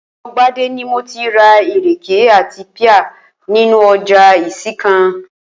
O̩wó̩ Gbadé ni mo ti ra ìrèké àti píà nínú o̩jà Ìsìnkàn